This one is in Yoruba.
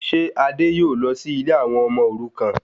Ṣé Adé yóò lọ sí ilé àwọn ọmọ òrukan